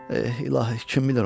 İlahi, kim bilir onu?